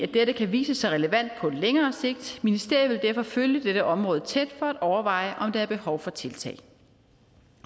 dette kan vise sig relevant på længere sigt ministeriet vil derfor følge dette område tæt for at overveje om der er behov for tiltag